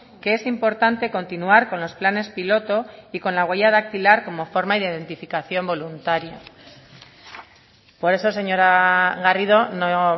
que es importante continuar con los planes piloto y con la huella dactilar como forma de identificación voluntaria por eso señora garrido no